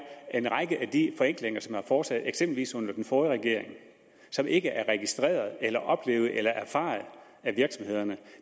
en række af de forenklinger som er foretaget eksempelvis under den forrige regering og som ikke er registreret eller oplevet eller erfaret af virksomhederne